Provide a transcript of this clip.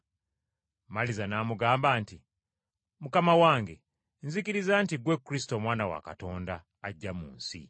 Maliza n’amugamba nti, “Mukama wange nzikiriza nti ggwe Kristo Omwana wa Katonda, ajja mu nsi.”